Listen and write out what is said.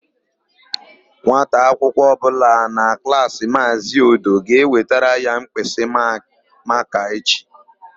Nwata akwụkwọ ọbụla na Klaasị Maazị Odo ga-ewetara ya mkpịsịmakaa echi.